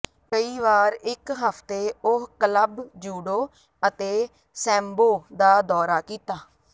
ਕਈ ਵਾਰ ਇੱਕ ਹਫ਼ਤੇ ਉਹ ਕਲੱਬ ਜੂਡੋ ਅਤੇ ਸੈਮਬੋ ਦਾ ਦੌਰਾ ਕੀਤਾ